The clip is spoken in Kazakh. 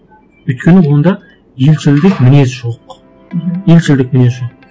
өйткені онда елшілдік мінез жоқ елшілдік мінез жоқ